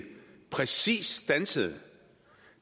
præcis standsede